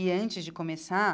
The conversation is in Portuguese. E, antes de começar,